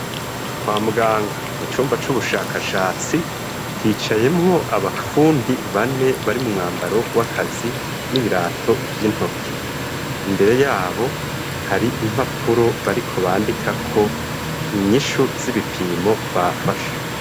Kwa muganga mu cumba c'ubushakashatsi hicayemwo abapfundi bane bari mu mwambaro w'akazi n'ibirato vy'intoke imbere yabo hari impapuro bariko bandika ko inyishu z'ibipimo bafashe.